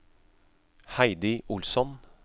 Heidi Olsson